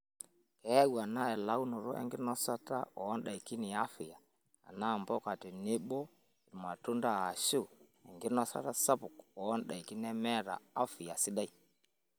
Keyau ena elaunoto enkinosata oo ndaiki e afya anaa mpuka tenebo ilmatunda aashu enkinosata sapuk oo ndaiki nemeeta afya sidai.